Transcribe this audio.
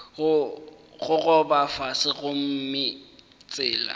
go gogoba fase gomme tsela